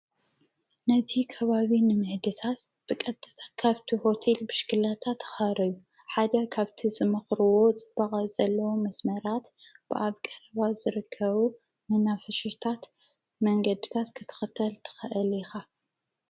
ነቲ ከባቢ ንምሕድታት ብቐጥታ ካብቲ ሆቴል ብሽክሌታ ተኻረዩ፡፡ ሓደ ካብቲ ዝመኽርዎ ፅባቐ ዘለዎ መስመራት ብኣብ ቀረባ ዝርከቡ መናፈሻታት መንገድታት ክትኽተል ተኸአል ኢኻ፡፡